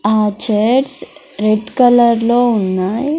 ఆ chairs red colour లో ఉన్నాయి.